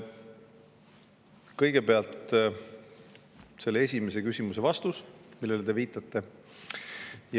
Kõigepealt vastus esimesele küsimusele, millele te viitate.